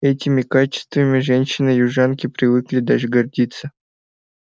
этими качествами женщины-южанки привыкли даже гордиться